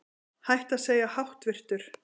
Hætt að segja háttvirtur